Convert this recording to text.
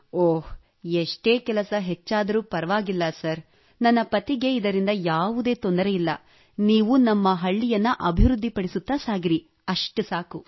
ಓಹ್ ಎಷ್ಟೇ ಕೆಲಸ ಹೆಚ್ಚಾದರೂ ಪರವಾಗಿಲ್ಲ ಸರ್ ನನ್ನ ಪತಿಗೆ ಇದರಿಂದ ಯಾವುದೇ ತೊಂದರೆ ಇಲ್ಲ ನೀವು ನಮ್ಮ ಹಳ್ಳಿಯನ್ನು ಅಭಿವೃದ್ಧಿಪಡಿಸುತ್ತಾ ಸಾಗಿರಿ ಅಷ್ಟು ಸಾಕು